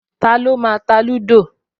Taló máa ta lúdò?